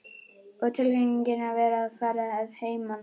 Og tilfinningin að vera að fara að heiman.